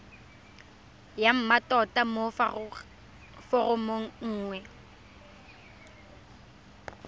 ya mmatota mo foromong nngwe